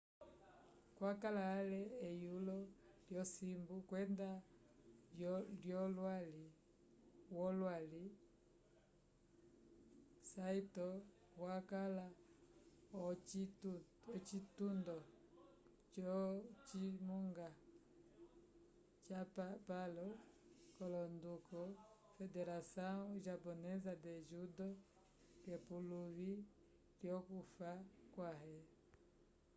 wakala ale eyulo lyosimbu kwenda wolwali saito wakala ocitundo co cimunga capapalo l'onduko federação japonesa de judo k'epuluvi lyokufa kwãhe